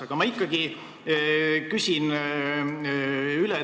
Aga ma ikkagi küsin üle.